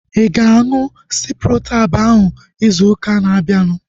Ịga aṅụ Ciprotab ahu ịzụ ụka na-abianu?